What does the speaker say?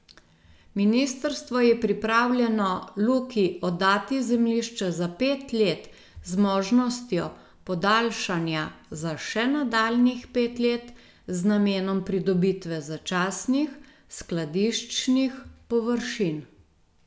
Ministrstvo je pripravljeno Luki oddati zemljišče za pet let z možnostjo podaljšanja za še nadaljnjih pet let z namenom pridobitve začasnih skladiščnih površin.